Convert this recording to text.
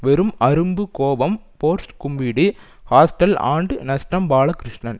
வெறும் அரும்பு கோபம் ஃபோர்ஸ் கூம்பிடு ஹாஸ்டல் ஆண்டு நஷ்டம் பாலகிருஷ்ணன்